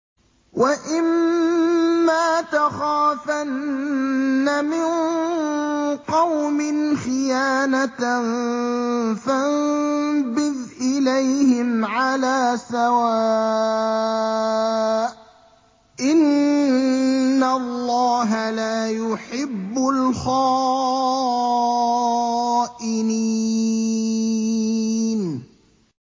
وَإِمَّا تَخَافَنَّ مِن قَوْمٍ خِيَانَةً فَانبِذْ إِلَيْهِمْ عَلَىٰ سَوَاءٍ ۚ إِنَّ اللَّهَ لَا يُحِبُّ الْخَائِنِينَ